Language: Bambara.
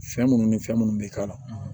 Fɛn minnu ni fɛn minnu bɛ k'a la